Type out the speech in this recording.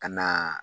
Ka na